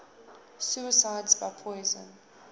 suicides by poison